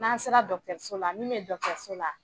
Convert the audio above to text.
N'an sera dɔgɔtɔrɔso la min bɛ so la